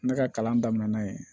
Ne ka kalan daminɛna yen